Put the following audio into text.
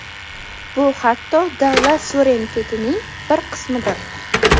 Bu, hatto, davlat suverenitetining bir qismidir.